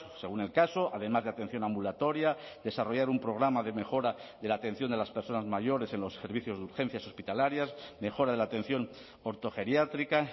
según el caso además de atención ambulatoria desarrollar un programa de mejora de la atención de las personas mayores en los servicios de urgencias hospitalarias mejora de la atención ortogeriátrica